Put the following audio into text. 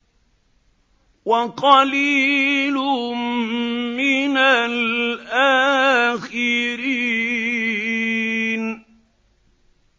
وَقَلِيلٌ مِّنَ الْآخِرِينَ